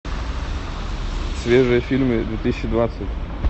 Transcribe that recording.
свежие фильмы две тысячи двадцать